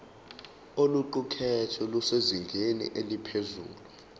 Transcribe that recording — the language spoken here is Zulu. oluqukethwe lusezingeni eliphezulu